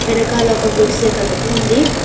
వెనకాల ఒక గుడిసె కన్ ఉంది.